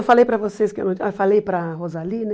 Eu falei para vocês que ah, falei para a Rosali, né?